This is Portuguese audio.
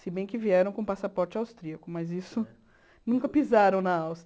Se bem que vieram com passaporte austríaco, mas isso... Nunca pisaram na Áustria.